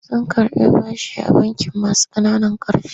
Sun karɓi bashi a bankin masu ƙananan ƙarfi.